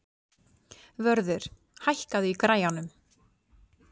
Vörður, hækkaðu í græjunum.